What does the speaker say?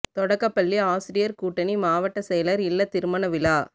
தொடக்கப் பள்ளி ஆசிரியர் கூட்டணி மாவட்ட செயலர் இல்ல திருமண விழா